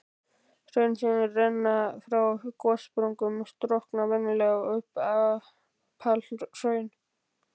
Hraun sem renna frá gossprungum storkna venjulega sem apalhraun.